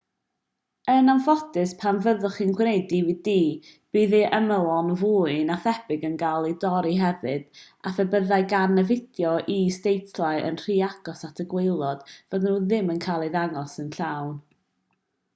yn anffodus pan fyddwch chi'n gwneud dvd bydd ei ymylon fwy na thebyg yn cael eu torri hefyd a phe byddai gan y fideo is-deitlau yn rhy agos at y gwaelod fyddan nhw ddim yn cael eu dangos yn llawn